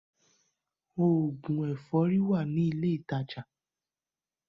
Òògùn ẹ̀fọ́rí wà ní ilé ìtajà.